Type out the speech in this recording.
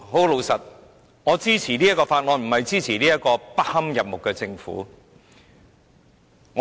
老實說，我支持《條例草案》，並不表示我支持這個不堪入目的政府。